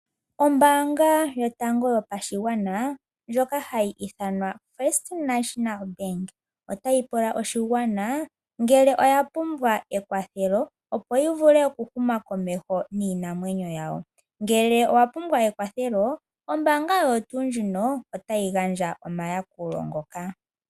Ombaanga yotango yopashigwana ndjoka hayi ithanwa First National Bank, otayi pula oshigwana ngele oya pumbwa ekwathelo opo yi vule oku huma komeho niinamwenyo yawo. Ngele owa pumbwa ekwathelo ombaanga oyo tuu ondjika otayi gandja omayakulo ngoka.